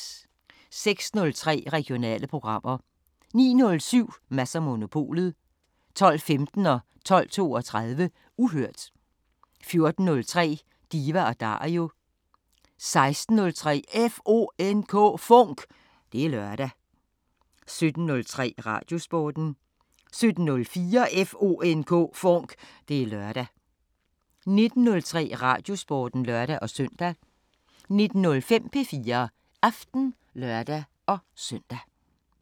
06:03: Regionale programmer 09:07: Mads & Monopolet 12:15: Uhørt 12:32: Uhørt 14:03: Diva & Dario 16:03: FONK! Det er lørdag 17:03: Radiosporten 17:04: FONK! Det er lørdag 19:03: Radiosporten (lør-søn) 19:05: P4 Aften (lør-søn)